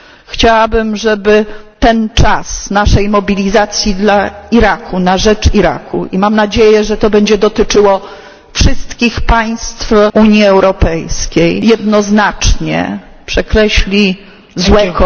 Chciałabym, żeby ten czas naszej mobilizacji dla Iraku, na rzecz Iraku i mam nadzieję, że to będzie dotyczyło wszystkich państw Unii Europejskiej jednoznacznie przekreślił złe...